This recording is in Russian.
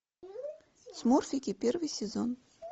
смурфики первый сезон